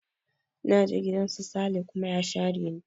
Na je gidan su Sale kuma ya share ni